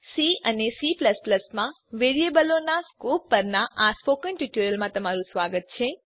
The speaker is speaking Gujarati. સી અને C માં વેરીએબલોનાં સ્કોપ પરનાં સ્પોકન ટ્યુટોરીયલમાં સ્વાગત છે